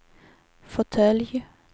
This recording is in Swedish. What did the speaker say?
fåtölj